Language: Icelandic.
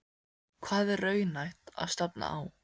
Hvað er raunhæft að stefna á?